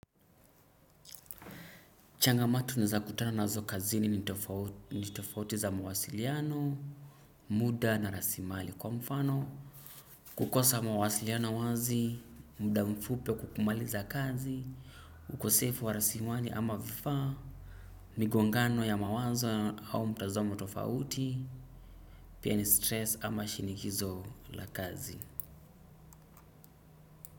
Changa matu nizakutana na zo kazini ni tofauti za mawasiliano, muda na rasimali kwa mfano. Kukosa mawasiliano wazi, muda mfupi wa kukumaliza kazi, ukosefu wa rasimali ama vifaa, miguangano ya mawazo au mtazamo tofauti, pia ni stress ama shinikizo la kazi.